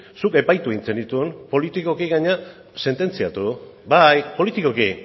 zuk epaitu egin zenituen politikoki gainera sententziatu bai politikoki